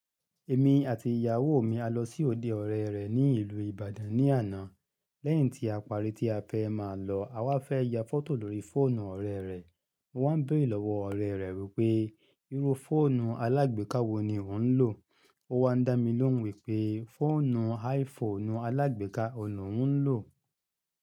Èmi àti ìyàwó mi a lọ sí òde ọ̀rẹ́ rẹ̀ ní ìlú Ìbàdàn ní àná. Lẹ́yìn tí a parí tí a fẹ́ máa lọ, a wá fẹ́ ya fọ́tò lórí fóònù ọ̀rẹ́ rẹ̀. Mọ wá ń béèrè lọ́wọ́ ọ̀rẹ́ rẹ̀ wípé, irú fóònù alágbèéká wo ni ò ń lò? Ó wá ń dá mi lóhùn wípé, fóònù iPhone alágbèéká òun lòuń lò.